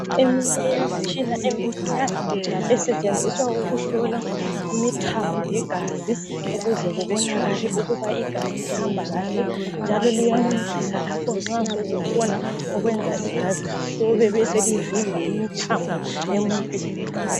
Eminye yemitshina emincinyane esetshenziswa ukuhlola imithambo yegazi ukuze kubonakale ukuba igazi lihamba kahle njalo liyancedisa lapho nxa sokukhona okwenza igazi lihlobe beselivimba imithambo emuntwini.